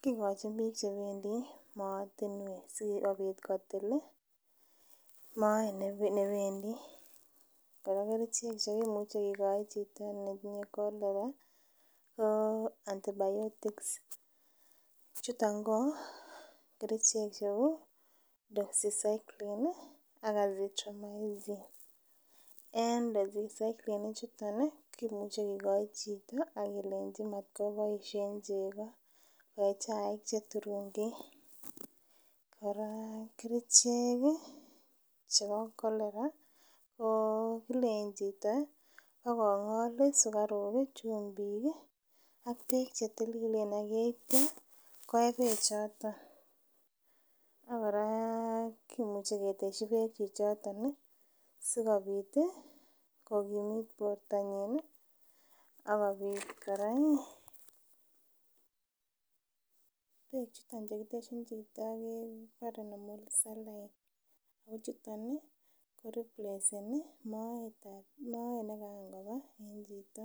kingen Kole igochin bik chebendi moatinwek sikobit kotil Moet nebendi koraa ko kerchek cheimuche kegoi Chito ne tinye cholera ko antibiotics chuton ko kerchek cheu dosi cyclone ak alak en chuton kemuche kegoi Chito agelenchi matibaishen chegi akobaishen chaik Che turungik koraa kerchek chebo cholera ko kalenjin Chito kongol , sikaruk chumbik akbbek chetililen akitya koyee bekbchoton akoraa kimuche keteshi bekb choton si sikobit kokimit bortanyin akobit koraa bek chuton kiteshin Chito kebare nemolsis akochuton ko repleseninmoet began Koba en Chito.